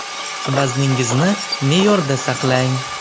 Vazningizni me’yorda saqlang.